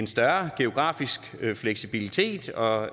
større geografiske fleksibilitet og